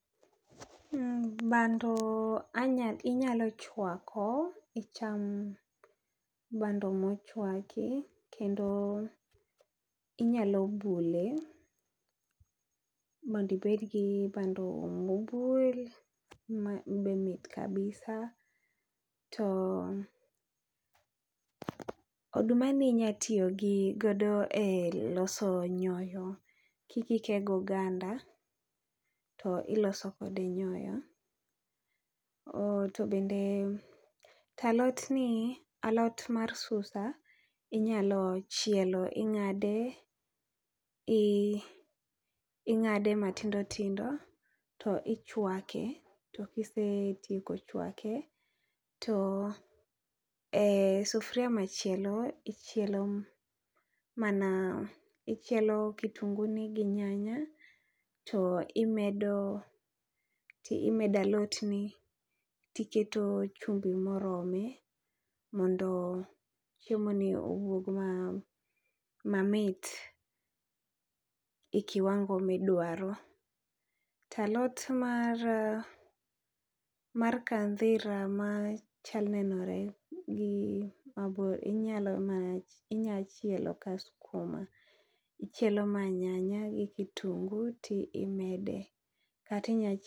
Bando inyalo chwako icham bando mochwaki, kendo inyalo bule mondibedgi bando mobul mabe mit kabisa. To oduma ni inya tiyo gi godo e loso nyoyo kikike goganda, iloso kode nyoyo. To bende talot ni alot mar susa, inyalo chielo ing'ade, ing'ade matindo tindo, to ichwake. To kisetieko chwake to e sufria machielo ichielo mana, ichielo kitungu ni gi nyanya to imedo, imedalot ni to iketo chumbi morome. Mondo chiemo ni owuog mamit e kiwango midwaro. Talot mar mar kandhira ma chal nenore gi mabro inyalo ma inya chielo ka skuma. Ichielo ma nyanya gi kitungu timede, katinya.